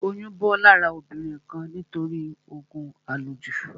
Oyún bọ́ lára obìnrin kan nítorí òògùn à lò jù